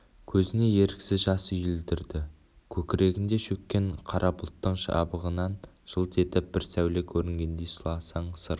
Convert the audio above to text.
көзіне еріксіз жас үйірілді көкірегінде шөккен қара бұлттың жабығынан жылт етіп бір сәуле көрінгендей сырласаң сыр